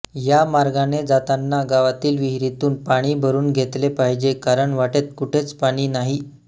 या मार्गाने जाताना गावातील विहिरीतून पाणी भरून घेतले पाहिजे कारण वाटेत कुठेच पाणी नाही